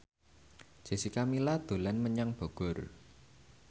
Jessica Milla dolan menyang Bogor